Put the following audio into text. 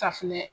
Safinɛ